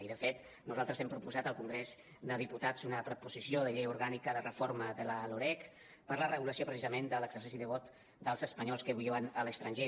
i de fet nosaltres hem proposat al congrés dels diputats una proposició de llei orgànica de reforma de la loreg per a la regulació precisament de l’exercici de vot dels espanyols que viuen a l’estranger